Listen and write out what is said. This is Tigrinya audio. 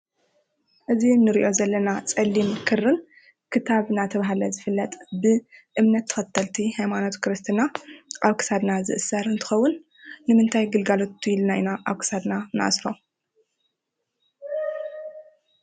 እዚ እንሪኦ ዘለና ፀሊም ክርን ክታብ እናተባህለ ዝፍለጥ ብእምነት ተኸተልቲ ሃይማኖት ክርስትና ኣብ ክሳድና ዝእሰር እንትኸውን ንምንታይ ግልጋሎት ኢልና ኢና ኣብ ክሳድና ንኣስሮ?